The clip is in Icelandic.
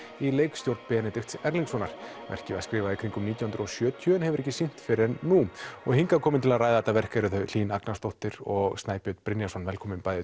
í leikstjórn Benedikts Erlingssonar verkið var skrifað í kringum nítján hundruð og sjötíu en hefur ekki verið sýnt fyrr en nú og hingað eru komin til að ræða þetta verk þau Hlín Agnarsdóttir og Snæbjörn Brynjarsson velkomin bæði